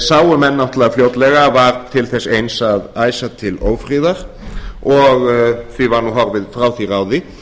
sáu menn náttúrlega fljótlega að var til þess eins að æsa til ófriðar og því var nú horfið frá því ráði